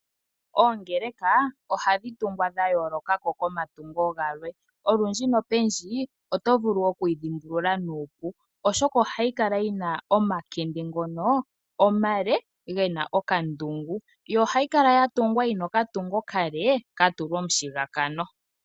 Oongeleka ohadhi tungwa dhayooloka ko komatungo galwe. Olundji nopendji oto vulu okuyi dhimbulula nuupu, oshoka ohayi kala yina omakende ngono omale gena okandungu. Ohayi kala yatungwa yina okatungo okale katulwa omushigakano.